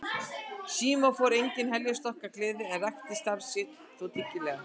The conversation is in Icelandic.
Símon fór engin heljarstökk af gleði en rækti starf sitt þó dyggilega.